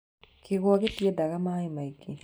kĩgwa gĩtiendaga maaĩ maingĩ.